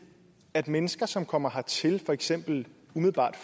at mennesker som kommer hertil for eksempel umiddelbart